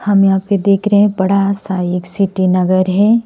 हम यहां पे देख रहे हैं बड़ा सा सिटी नगर है।